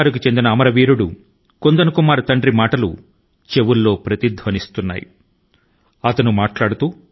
బిహార్ కు చెందిన శహీద్ కుందన్ కుమార్ తండ్రి గారి మాట లు అయితే ఇంకా చెవి లో ప్రతిధ్వనిస్తూనే ఉన్నాయి